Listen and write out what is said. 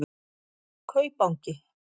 Kaupangi